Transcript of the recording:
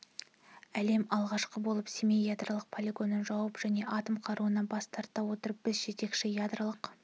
әлемде алғашқы болып семей ядролық полигонын жауып және атом қаруынан бас тарта отырып біз жетекші ядролық